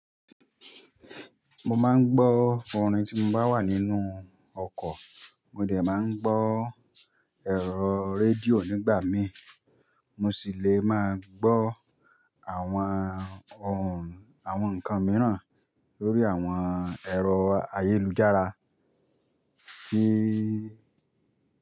Mo máa ń gbọ́ fún orin tí mo bá wà nínú ọkọ̀. Mo dẹ̀ máa ń gbọ́ ẹ̀rọ radíò nígbà mí. Mo sì lè máa gbọ́ àwọn ohùn, àwọn ǹkan mìíràn lórí àwọn ẹ̀rọ ayélujára tí.